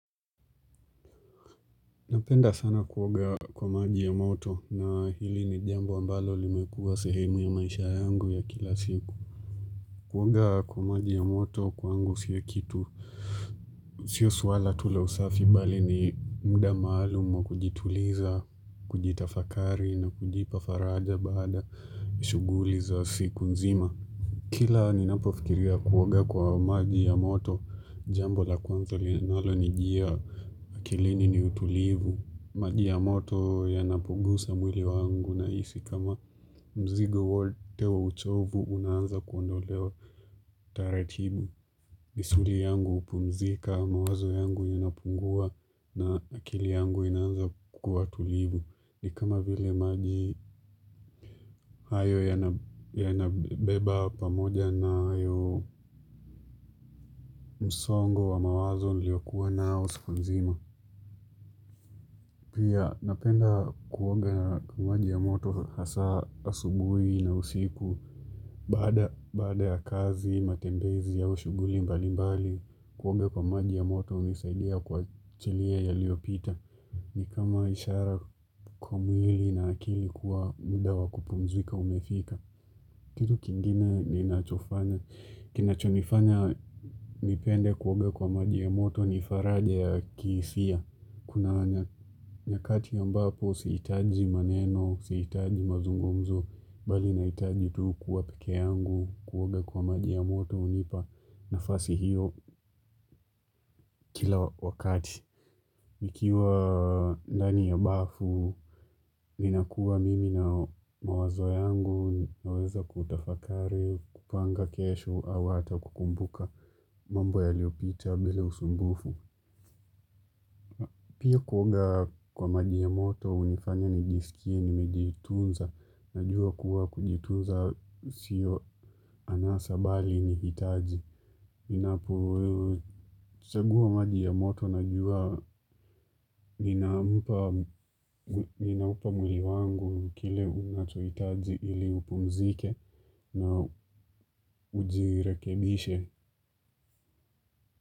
Napenda sana kuoga kwa maji ya moto na hili ni jambo ambalo limekuwa sehemu ya maisha yangu ya kila siku. Kuoga kwa maji ya moto kwangu sio kitu. Sio suala tu la usafi bali ni muda maalum wa kujituliza, kujitafakari na kujipa faraja baada ya shughuli za siku nzima. Kila ninapofikiria kuoga kwa maji ya moto jambo la kwanzo linalonijia akilini ni utulivu. Maji ya moto yanapunguza mwili wangu nahisi kama mzigo wote wa uchovu unaanza kuondolewa taratibu. Misuli yangu hupumzika mawazo yangu inapungua na akili yangu inaanza kuwa tulivu ni kama vile maji hayo yanabeba pamoja nayo msongo wa mawazo niliyokuwa nao siku nzima. Pia napenda kuoga na maji ya moto hasa asubuhi na usiku. Baada ya kazi, matembezi ya ushughuli mbalimbali, kuoga kwa maji ya moto hunisaidia kuachilia yaliyopita. Ni kama ishara kwa mwili na akili kuwa muda wa kupumzika umefika. Kitu kingine ninachofanya. Kinachonifanya nipende kuoga kwa maji ya moto ni faraja ya kihisia. Kuna nyakati ambapo sihitaji maneno, sihitaji mazungumzo, bali nahitaji tu kuwa peke yangu, kuoga kwa maji ya moto hunipa nafasi hiyo kila wakati. Nikiwa ndani ya bafu, nina kuwa mimi na mawazo yangu naweza kutafakari, kupanga kesho, au hata kukumbuka mambo yaliyopita bila usumbufu. Pia kuoga kwa maji ya moto, hunifanya nijisikie, nimejitunza, najua kuwa kujitunza sio anasa bali ni hitaji. Ninapochagua maji ya moto, najua, ninaupa mwili wangu kile unachohitaji ili upumzike na ujirekebishe.